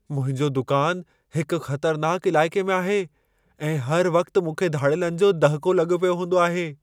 मुंहिंजो दुकानु हिक ख़तरनाकु इलाइक़े में आहे ऐं हर वक़्ति मूंखे धाड़ेलनि जो दहिको लॻो पियो हूंदो आहे।